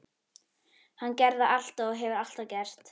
Hann gerði það alltaf og hefur alltaf gert.